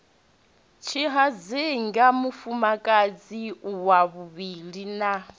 tshihadzinga mufumakadzi wa vhuvhili na